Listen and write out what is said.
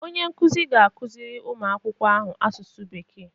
Onye nkuzi ga-akụziri ụmụ akwụkwọ ahụ Asụsụ Bekee